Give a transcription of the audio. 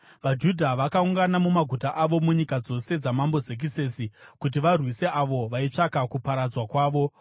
VaJudha vakaungana mumaguta avo munyika dzose dzaMambo Zekisesi kuti varwise avo vaitsvaka kuparadzwa kwavo.